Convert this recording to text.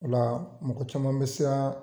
Ola mɔgɔ caman bi siran